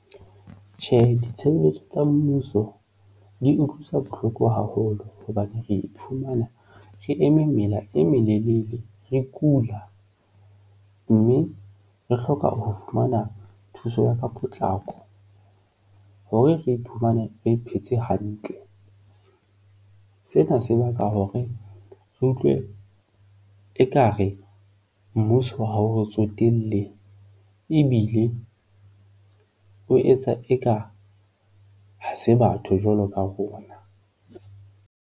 Tjhe, ditshebelletso tsa mmuso di utlwisa bohloko haholo hobane re iphumana re eme mela e melelele, re kula mme re hloka ho fumana thuso ya ka potlako hore re iphumane re phetse hantle. Sena se baka hore re utlwe ekare mmuso ha o re tsotelle ebile o etsa eka ha se batho jwalo ka rona.